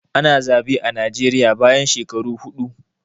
Ana zaɓe a Najeriya bayan shekaru huɗu